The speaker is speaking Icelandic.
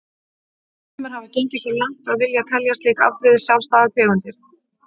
Sumir hafa gengið svo langt að vilja telja slík afbrigði sjálfstæðar tegundir.